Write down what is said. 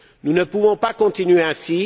Nous ne pouvons pas continuer ainsi.